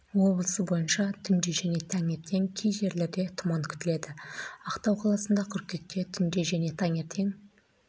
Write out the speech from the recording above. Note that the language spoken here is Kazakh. облысы бойынша түнде және таңертең кей жерлерде тұман күтіледі актау қаласында қыркүйекте түнде және таңертең